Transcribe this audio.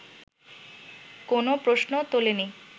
কোনো প্রশ্ন তোলে নি